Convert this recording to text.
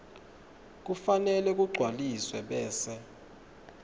kufanele kugcwaliswe bese